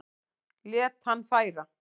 Lét hann færa